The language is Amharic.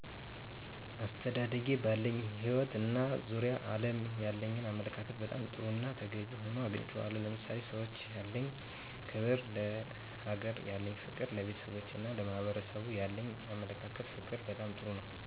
አስተዳደጌ ባለኝ ህይወት እና በዙሪያው ዓለም ያለኝ አመለካከት በጣም ጥሩና ተገቢ ሆኖ አግኝቸዋለሁ። ለምሳሌ፦ ለሰዎች ያለኝ ክብር፣ ለሀገሬ ያለኝ ፍቅር፣ ለቤተሰቦቼና ለሕብረሰቡ ያለኝ አመለካከትና ፍቅር በጣም ጥሩ ነው።